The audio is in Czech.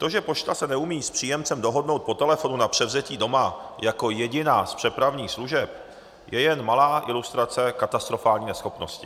To, že se pošta neumí s příjemcem dohodnout po telefonu na převzetí doma jako jediná z přepravních služeb, je jen malá ilustrace katastrofální neschopnosti.